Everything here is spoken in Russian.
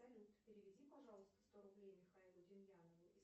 салют переведи пожалуйста сто рублей михаилу демьянову